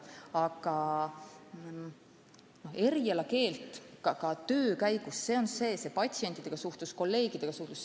Aga ka töö käigus saab õppida – on see siis patsientidega suhtlus või kolleegidega suhtlus.